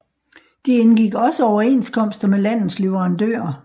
De indgik også overenskomster med landets leverandører